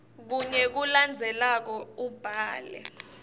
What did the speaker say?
kunye kulokulandzelako ubhale